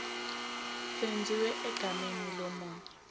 senziwe egameni lomunye